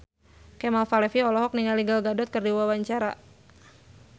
Kemal Palevi olohok ningali Gal Gadot keur diwawancara